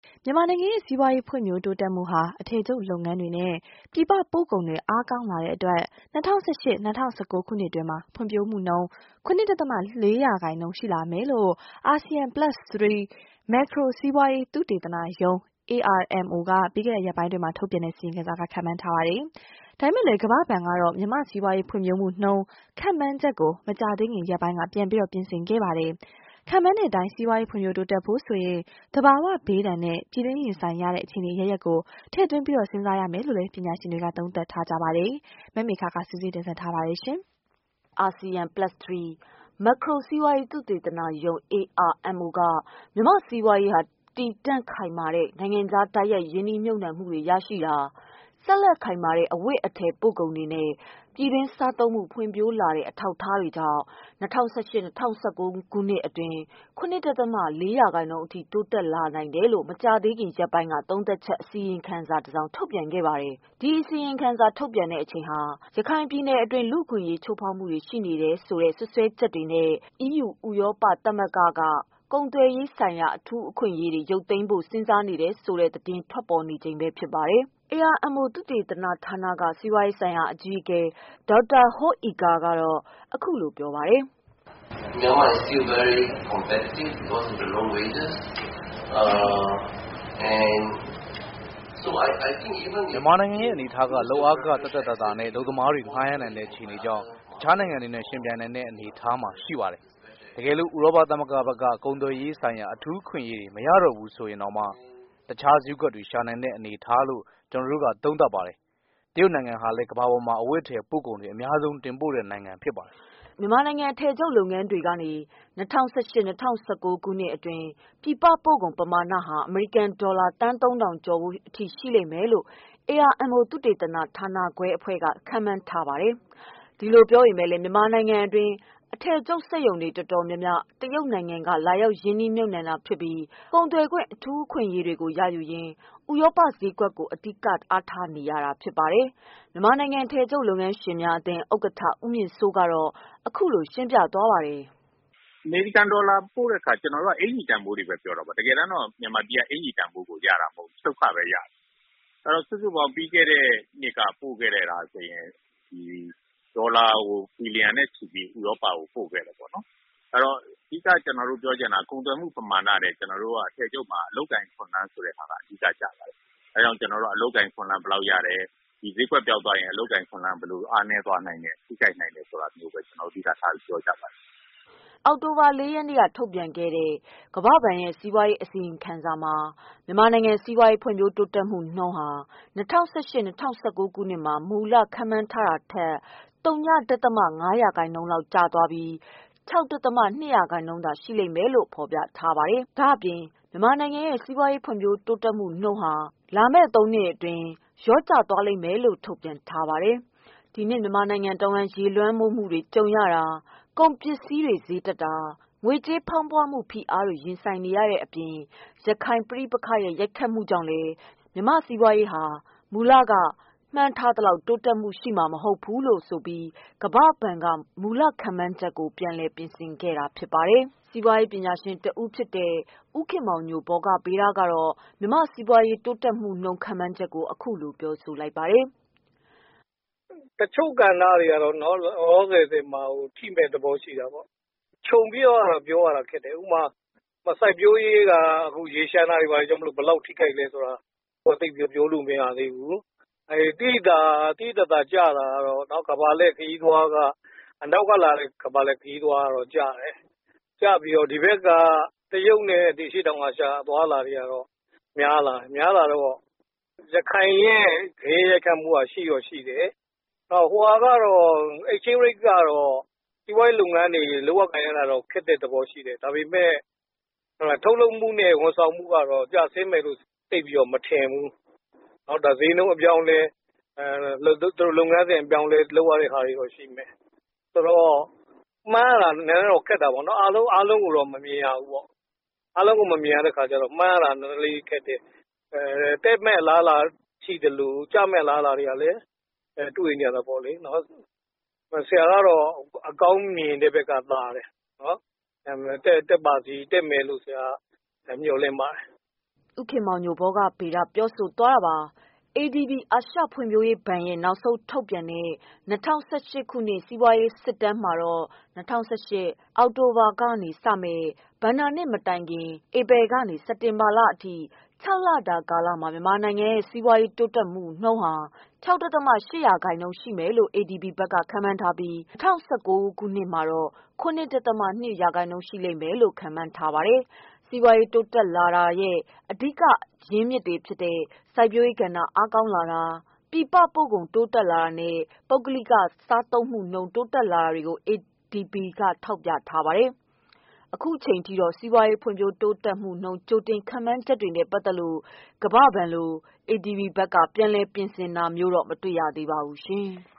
မြန်မာနိုင်ငံရဲ့ စီးပွားရေး ဖွံ့ဖြိုးုတိုးတက်မှုဟာ အထည်ချုပ်လုပ်ငန်းတွေနဲ့ ပြည်ပပို့ကုန်တွေ အားကောင်းလာတဲ့အတွက် ၂၀၁၈-၂၀၁၉ ခုနှစ်အတွင်း ဖွံဖြိုးမှုနှုန်း ၇ ဒသမ ၄ ရာခိုင်နှုန်းအထိ ရှိလာမယ်လို့ အာဆီယံ + 3 မက်ခရိုစီးပွားရေး သုတေသနရုံး (AMRO) က ပြီးခဲ့တဲ့ရက်ပိုင်းအတွင်း ထုတ်ပြန်တဲ့ အစီရင်ခံစာမှာ ခန့်မှန်းပါတယ်။ ဒါပေမဲ့လည်း ကမ္ဘာဘဏ်ကတော့ မြန်မာစီးပွားရေးဖွံ့ဖြိုးမှုနှုန်း ခန့်မှန်းချက်ကို မကြာသေးခင်ရက်ပိုင်းက ပြန်လည်ပြင်ဆင်ခဲ့ပါတယ်။ ခန့်မှန်းတဲ့ အတိုင်း စီးပွားရေးဖွံ့ဖြိုးတိုးတက်ဖို့ဆိုရင် သဘာဝဘေးဒဏ်နဲ့ ပြည်တွင်းရင်ဆိုင်ရတဲ့ အခြေအနေအရပ်ရပ်ကို ထည့်သွင်းစဉ်းစားရမယ်လို့လည်း ပညာရှင်တွေက သုံးသပ်ပါတယ်။ မမေခက စုစည်းတင်ပြထားပါတယ်။ အာဆီယံ + ၃ မက်ခရိုစီးပွားရေး သုတေသနရုံး (AMRO) က မြန်မာ့စီးပွားရေးဟာ တည်တံ့ခိုင်မာတဲ့ နိုင်ငံခြား တိုက်ရိုက်ရင်းနှီးမြုတ်နှံမှုတွေ ရှိတာ။ ဆက်လက်ခိုင်မာတဲ့ အဝတ်အထည်ပို့ကုန်တွေနဲ့ ပြည်တွင်းစားသုံးမှု ဖွံ့ဖြိုးလာတဲ့ အထောက်အကူတွေကြောင့် ၂၀၁၈၊ ၂၀၁၉ ခုနှစ်အတွင်း ၇ ဒသမ ၄ ရာခိုင်နှုန်း အထိ တိုးတက်လာနိုင်တယ်လို့ မကြာသေးခင်ရက်ပိုင်းက သုံးသပ်ချက် အစီရင်ခံစာ ထုတ်ပြန်ခဲ့ပါတယ်။ ဒီ အစီရင်ခံစာထုတ်ပြန်တဲ့အချိန်ဟာ ရခိုင်ပြည်နယ်အတွင်း လူ့အခွင့်အရေးချိုးဖေါက်မှုတွေ ရှိနေတယ်ဆိုတဲ့ စွပ်စွဲချက်နဲ့ အီးယူ ဥရောပ သမဂ္ဂဘက်က ကုန်သွယ်ရေးဆိုင်ရာ အထူး အခွင့်အရေးတွေ ရုပ်သိမ်းဖို့ စဉ်းစားနေတယ်ဆိုတဲ့ သတင်းတွေ ထွက်ပေါ်နေတဲ့အချိန်ဖြစ်ပါတယ်။ AMRO သုသေသနဌာနက က စီးပွားရေးဆိုင်ရာ အကြီးအကဲ Dr. Hoe Ee Khor က အခုလို ပြောပါတယ်။ " မြန်မာနိုင်ငံရဲ့ အနေအထားက လုပ်အားခ သက်သက်သာသာနဲ့ အလုပ်သမားတွေ ငှားရမ်းနိုင်တဲ့ အခြေအနေကြောင့် တခြားနိုင်ငံတွေနဲ့ ယှဉ်ပြိုင်နိုင်တဲ့ အနေအထားမှာ ရှိနေပါတယ်။ တကယ်လို့ ဥရောပ သမဂ္ဂဘက်က ကုန်သွယ်ရေးဆိုင်ရာ အထူးအခွင့်အရေးတွေ မရတော့ဘူးဆိုရင်တောင် တခြား ဈေးကွက်တွေ ရှာနိုင်တဲ့အနေအထားလို့ ကျနော်တို့က သုံးသပ်ပါတယ်။ တရုတ်နိုင်ငံဟာလည်း ကမ္ဘာပါ်မှာ အဝတ်အထည်ပို့ကုန်တွေ အများဆုံး တင်ပို့တဲ့ နိုင်ငံဖြစ်ပါတယ်။" မြန်မာနိုင်ငံ အထည်ချုပ်လုပ်ငန်းတွေကနေ ၂၀၁၈၊ ၂၀၁၉ ခုနှစ်အတွင်း ပြည်ပပို့ကုန် ပမာဏဟာ အမေရိကန် ဒေါ်လာ သန်းသုံးထောင်ကျော်ဖိုး အထိ ရှိမယ်လို့ AMRO သုသေသနဌာနအဖွဲ့က ခန့်မှန်းပါတယ်။ ဒီလို ပြောပေမဲ့လည်း မြန်မာနိုင်ငံအတွင်း အထည်ချုပ်စက်ရုံတွေ တော်တော်များများ တရုတ်နိုင်ငံက လာရောက်ရင်းနှီးမြုပ်နှံတာဖြစ်ပြီး ကုန်သွယ်ခွင့် အထူး အခွင့်အရေးတွေကို ရယူရင်း ဥရောပ ဈေးကွက်ကို အဓိက အားထားနေတာဖြစ်ပါတယ်။ မြန်မာနိုင်ငံ အထည်ချုပ်လုပ်ငန်းရှင်များအသင်း ဥက္ကဋ္ဌ ဦးမြင့်စိုး ကတော့ အခုလို ရှင်းပြပါတယ်။ "အမေရိကန်ဒေါ်လာပြောတဲ့ အခါကျနော်တို့က အကျီတန်ဖိုးတွေဘဲပြောတာပေါ့။ မြန်မာပြည်က အကျီတန်ဖိုးရတာမဟုတ်ဘူး ချုပ်ခဘဲရတာ။ စုစုပေါင်းပြီးခဲ့တဲ့ နှစ်ကပို့ခဲ့တာဆိုရင် ဒေါ်လာဘီလီယံနဲ့ချီ ပြီးဥရောပကိုပို့ခဲ့တယ်ပေါ့နော်။ ကုန်သွယ်မှုမမာဏထက်ကျနော်တို့ဆီမှာ အထည်ချုပ်မှာ အလုပ်အကိုင်အခွင့်အလမ်း ကိုပိုပြီးအဓိကကျပါတယ်။ ဒီဈေးကွက်ပျောက်ရင် အလုပ်အကိုင်အခွင့်အလမ်းဘယ်လောက်ပျောက်လဲဆိုတာ အဓိကထားပြောကြပါတယ်။ " အောက်တိုဘာလ ၄ ရက်နေ့က ထုတ်ပြန်ခဲ့တဲ့ ကမ္ဘာဘဏ်ရဲ့ အစီရင်ခံစာမှာ မြန်မာနိုင်ငံစီးပွားရေး ဖွံ့ဖြိုးတိုးတက်မှုနုန်းဟာ ၂၀၁၈-၂၀၁၉ ခုနှစ်မှာ မူလရည်မှန်းထားတာထက် သုည ဒသမ ငါး ရာခိုင်နှုန်း လျော့ကျသွားပြီး ၆ ဒသမ ၂ ရာခိုင်နှုန်းသာ ရှိမယ်လို့ ဖေါ်ပြထားပါတယ်။ ဒါ့အပြင် မြန်မာနိုင်ငံရဲ့ စီးပွားရေးဖွံ့ဖြိုးမှုနှုန်း လာမယ့်သုံးနှစ်အတွင်း လျော့ကျသွားနိုင်တယ်လို့လည်း ထုတ်ပြန်ခဲ့ပါတယ်။ ဒီနှစ် မြန်မာနိုင်ငံ တဝှမ်း ရေလွှမ်းမိုးမှုတွေကြုံရတာ၊ ကုန်ပစ္စည်းဈေးတွေတက်တာ၊ ငွေကြေးဖေါင်းပွမှု ဖိအားတွေ ရင်ဆိုင်ရတာတွေအပြင် ရခိုင်ပဋိပက္ခရဲ့ ရိုက်ခတ်မှုကြောင့်လည်း မြန်မာ့စီးပွားရေးဟာ မူလက မှန်းထားသလောက် တိုးတက်မှု ရှိမှာ မဟုတ်ဘူးဆိုပြီး ကမ္ဘာဘဏ်က မူလခန့်မှန်းချက်ကို ပြန်လည် ပြင်ဆင်ခဲ့တာဖြစ်ပါတယ်။ စီးပွားရေးပညာရှင်တဦးဖြစ်တဲ့ ဦးခင်မောင်ညို ဗောဂဗေဒကတော့ မြန်မာ စီးပွား ရေးတိုးတက်မှုနှုန်း ခန့်မှန်းချက်ကို အခုလို ပြောဆိုပါတယ်။ "တချို့ကဏ္ဍတွေကတော့နော် လောလောဆယ်မှာထိမယ့်သဘောရှိတာပေါ့နော်။ ခြုံပြီးပြောရတာ ခက်တယ်။ စိုက်ပျိုးရေးဆိုရင် ရေလ ျှံတာကြောင့်ဘယ်လောက်ထိလဲပြောလို့မရသေး ဘူး။ သိသိသာသာ ကျဆင်းတာကတော့ အနောက်ကလာတဲ့ ကမ္ဘာလှည့်ခရီးသွားဝင်တာကျပြီးတရုတ်နဲ့ အရှေ့တောင်အာရှဘက်က များလာတယ်။ ရခိုင် ဂယက်ရိုက်ခတ်မှုကရှိတော့ရှိတယ်။ ငွေလဲနှုန်း က စီးပွားရေးလုပ်ငန်းအတွက် အခက်အခဲရှိစေတာမှန်တယ်။ ထုတ်လုပ်မှုနဲ့ ဝန်ဆောင်မှုကကျဆင်း မယ်လို့မထင်ဘူး။ မှန်းရတာတော့ခက်တယ်။ အားလုံးတော့မမြင်ရဘူး။ တက်မယ့်အလားလားရှိသလို ကျမယ့်အလားအလားလည်းရှိတယ်။ ဆရာကတော့ အကောင်း ဘက်ကိုဘဲရှုမြင်ပါတယ်" ဦးခင်မောင်ညို (ဗောဂဗေဒ) ပြောဆိုသွားတာပါ။ ADB အာရှဖွံ့ဖြိုးရေးဘဏ်ရဲ့ နောက်ဆုံး ထုတ်ပြန်တဲ့ ၂၀၁၈ ခုနှစ် စီးပွားရေး စစ်တမ်းမှတော့ ၂၀၁၈ ခုနှစ် အောက်တိုဘာလမှာစတင်မယ့် ဘဏ္ဍာနှစ်အသစ်မတိုင်ခင် ဧပြီလကနေ စက်တင်ဘာလအထိ ခြောက်လတာ ကာလမှာ မြန်မာနိုင်ငံရဲ့ စီးပွားရေး တိုးတက်မှု ၆.၈% ရှိမယ်လို့ ADB က ခန့်မှန်းထားပြီး ၂၀၁၉ ဘဏ္ဍာနှစ်မှာ ၇.၂% ရှိမယ်လို့ ခန့်မှန်းထားပါတယ်။ စီးပွားရေးတိုးတက်လာတာရဲ့ အဓိကအကြောင်းတွေအဖြစ် စိုက်ပျိုးရေးကဏ္ဍ အားကောင်းလာတာ၊ ပြည်ပပို့ကုန် တက်လာတာနဲ့ ပုဂ္ဂလိကစားသုံးမှုနှုန်း ပိုတက်လာတွေကို ADB က ထောက်ပြထားပါတယ်။ အခုအချိန်အထိတော့ စီးပွားရေး ဖွံ့ဖြိုးမှုနှုန်း ကြိုတင် ခန့်မှန်းချက်တွေနဲ့ပတ်သက်လို့ ကမ္ဘာဘဏ်လို ADB ဘက်က ပြန်လည် ပြင်ဆင်တာမျိုးတော့ မတွေ့ရသေးပါဘူး။